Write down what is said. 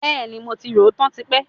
Bẹẹni, mo ti rò ó tán tipẹ́